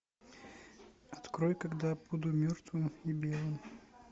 открой когда я буду мертвым и белым